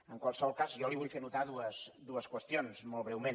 en qualsevol cas jo li vull fer notar dues qüestions mol breument